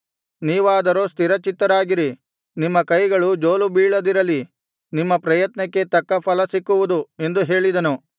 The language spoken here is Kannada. ನೀವಾದರೋ ಸ್ಥಿರಚಿತ್ತರಾಗಿರಿ ನಿಮ್ಮ ಕೈಗಳು ಜೋಲು ಬೀಳದಿರಲಿ ನಿಮ್ಮ ಪ್ರಯತ್ನಕ್ಕೆ ತಕ್ಕ ಫಲ ಸಿಕ್ಕುವುದು ಎಂದು ಹೇಳಿದನು